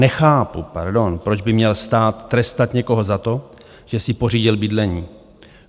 Nechápu, proč by měl stát trestat někoho za to, že si pořídil bydlení.